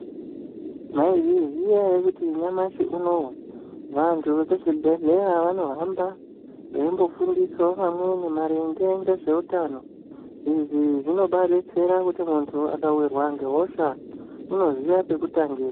Mwaizviziya ere kuti nyamashi unowu, vantu vekuzvibhehleya vanohamba veimbofundisawo vamweni maringe ngezveutano. Izvi zvinobaadetsera kuti muntu akawirwa ngehosha unoziya pekutangira.